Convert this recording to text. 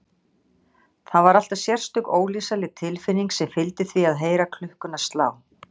Það var alltaf sérstök, ólýsanleg tilfinning sem fylgdi því að heyra klukkuna slá.